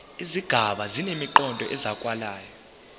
izigaba zinemiqondo ezwakalayo